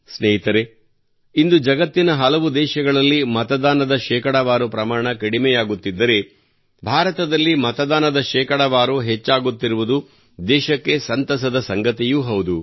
ಸ್ನೇಹಿತರೇ ಇಂದು ಜಗತ್ತಿನ ಹಲವು ದೇಶಗಳಲ್ಲಿ ಮತದಾನದ ಶೇಕಡಾವಾರು ಪ್ರಮಾಣ ಕಡಿಮೆಯಾಗುತ್ತಿದ್ದರೆ ಭಾರತದಲ್ಲಿ ಮತದಾನದ ಶೇಕಡಾವಾರು ಹೆಚ್ಚಾಗುತ್ತಿರುವುದು ದೇಶಕ್ಕೆ ಸಂತಸದ ಸಂಗತಿಯೂ ಹೌದು